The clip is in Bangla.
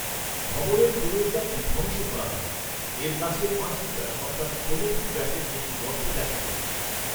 ভবনের প্রবেশদ্বারটি ধ্বংস করা হয়; এর কাছে পাঁচ মিটার অর্থাৎ ষোল ফুট ব্যাসের একটি গর্ত দেখা যায়।